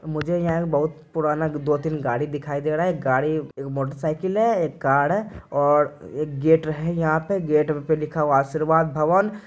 मझे यहाँ एक बहुत पुराना दो-तीन गाड़ी दिखाई दे रहा है गाड़ी एक मोटरसाइकिल है एक कार है और एक गेट है यहाँ पे गेट पे लिखा हुआ है आशीर्वाद भवन।